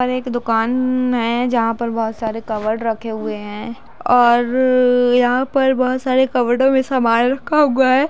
पर एक दुकाननन है जहां पर बहुत सारे कप्बोर्ड रखे हुए हैं औररर यहां पर बहुत सारे कप्बर्डो में समान रखा हुआ है।